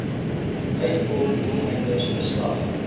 uitvoer doeleindes geslag